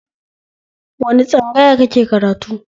Wani tsangaya kake karatu?